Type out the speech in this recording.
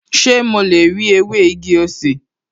Ṣé mo lè rí ewé igi-osè?